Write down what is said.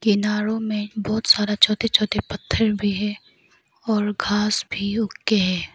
किनारों में बहोत सारा छोटे छोटे पत्थर भी है और घास भी उग के है।